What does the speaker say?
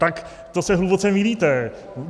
Tak to se hluboce mýlíte.